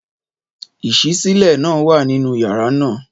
Ìṣísílẹ̀ náà wà nínú yàrá náà.